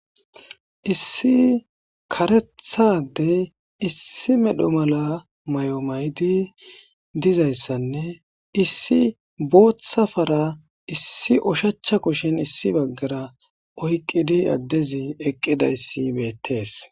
Issi karethadey issi medho mala may,o maydi dizayssanne issi booththafara issi ushacha kushin issi baggara oyqqidi addezi eqqida issi beettees.